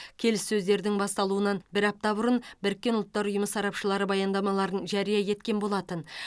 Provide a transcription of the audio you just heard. келіссөздердің басталуынан бір апта бұрын біріккен ұлттар ұйымы сарапшылары баяндамаларын жария еткен болатын